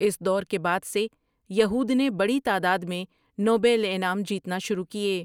اس دور کے بعد سے یہود نے بڑی تعداد میں نوبل انعام جیتنا شروع کیے ۔